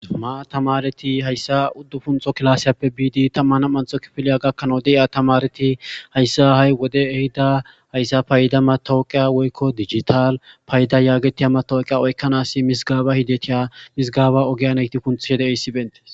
Tamareti haysa udufuntho kifilepe bidi taman nam'antho kifile gakana de'iya tamareti haysa ha'i wondey ehida haysa fayda matawaqiya woyko digital fayda getetida mataweqa oykana mizgeba ogiya kunthishe detes